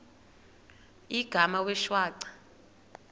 igama wee shwaca